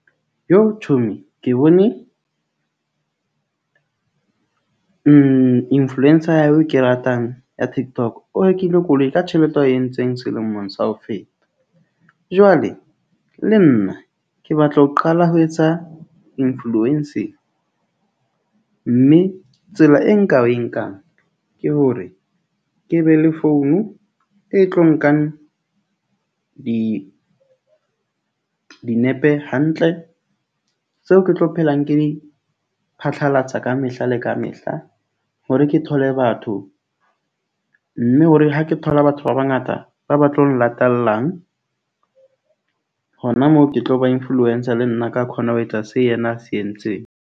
Chomi ke bone influencer eo ke ratang ya Tiktok. O rekile koloi ka tjhelete ya e entseng selemong sa ho feta. Jwale le nna ke batla ho qala ho etsa influencing. Mme tsela e nka e nkang ke hore ke be le founu e tlo nkang di dinepe hantle. Seo ke tlo phelang ke di phatlalatsa ka mehla le ka mehla hore ke thole batho. Mme hore ha ke thola batho ba bangata ba ba tlo nglatellang hona moo, ke tlo ba influencer le nna ka khona ho etsa seo le yena a se entseng.